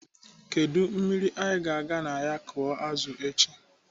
Kedụ mmiri anyị ga-aga na ya akụ azụ echi?